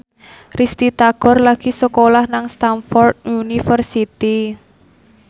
Risty Tagor lagi sekolah nang Stamford University